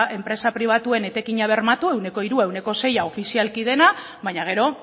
enpresa pribatuen etekina bermatu ehuneko hirua ehuneko sei ofizialki dena baina gero